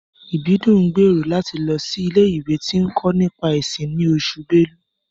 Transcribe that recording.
Ìbídùn ń gbèrò láti lọ sí ilé-ìwé tí ń kọ́ nípa ẹ̀sìn ni Oṣù belú